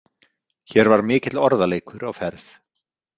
Hér var mikill orðaleikur á ferð.